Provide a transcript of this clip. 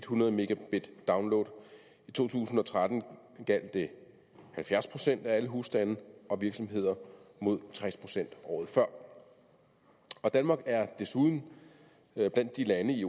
hundrede megabit download i to tusind og tretten gjaldt det halvfjerds procent af alle husstande og virksomheder mod tres procent året før danmark er desuden blandt de lande i